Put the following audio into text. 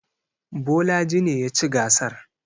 Bolaji ne ya ci gasar.